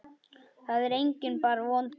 Það er enginn bara vondur.